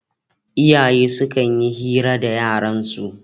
Iyaye sukan yi hira da yaransu